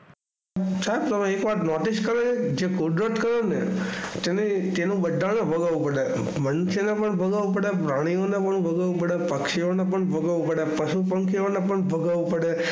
સાહેબ તમે એક વાર નોટિસ કરી જે કુદરત કરે તેને બધાને ભોગવવું પડે મનુષ્ય ને પણ ભોગવવું પડે પક્ષીઓ ને પણ ભોગવવું પડે પશુપક્ષીઓ ને પણ ભોગવવું પડે.